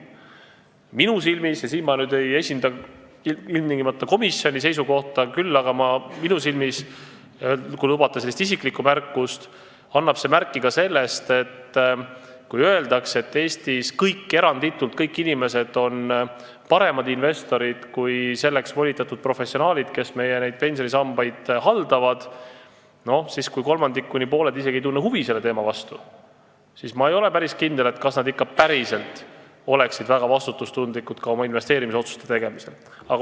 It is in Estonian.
Minu silmis – ja siin ma ei esinda nüüd ilmtingimata komisjoni seisukohta, vaid teen, kui lubate, isikliku märkuse – annab see märku sellest, et kuigi eranditult kõik inimesed Eestis pidavat olema paremad investorid kui selleks volitatud professionaalid, kes meie pensionisambaid haldavad, siis kuivõrd kolmandik kuni pooled ei tunne isegi huvi selle teema vastu, ei ole ma päris kindel, kas nad ikka päriselt oleksid väga vastutustundlikud oma investeerimisotsuste tegemisel.